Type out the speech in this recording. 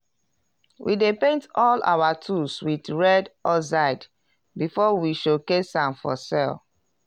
we dey paint all our tools wit red oxide before we showcase am for sell.